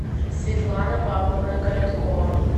светлана павловна короткова